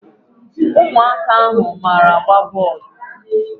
Ụmụaka ahụ a mara agba bọọlụ?